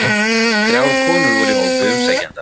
Þrjár konur voru í hópi umsækjenda